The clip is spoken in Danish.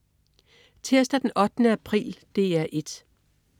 Tirsdag den 8. april - DR 1: